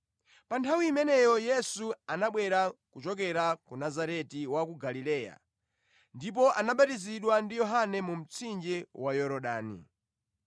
Pa nthawi imeneyo Yesu anabwera kuchokera ku Nazareti wa ku Galileya ndipo anabatizidwa ndi Yohane mu mtsinje wa Yorodani.